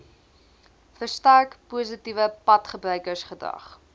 versterk positiewe padgebruikersgedrag